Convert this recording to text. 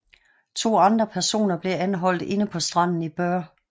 To andre personer blev anholdt inde på stranden i Bøur